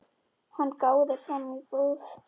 Hann gáði fram í búð.